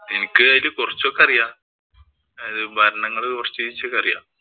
എനിക്ക് അതില് കൊറച്ചൊക്കെ അറിയാം. ഭരണങ്ങള്‍ കൊറച്ചൊക്കെ അറിയാം.